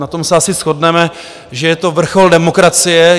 Na tom se asi shodneme, že je to vrchol demokracie.